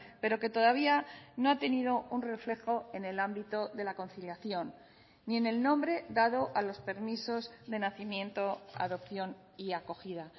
pero que todavía no ha tenido un reflejo en el ámbito de la conciliación ni en el nombre dado a los permisos de nacimiento adopción y acogida